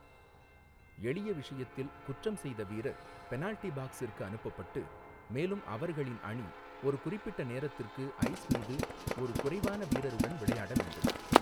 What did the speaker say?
எளிய விஷயத்தில், குற்றம் செய்த வீரர் பெனால்டி பாக்ஸிற்கு அனுப்பப்பட்டு, மேலும் அவர்களின் அணி ஒரு குறிப்பிட்ட நேரத்திற்கு ஐஸ் மீது ஒரு குறைவான வீரருடன் விளையாட வேண்டும்.